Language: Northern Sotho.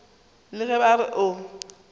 le ge ba re o